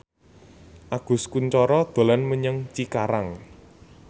Agus Kuncoro dolan menyang Cikarang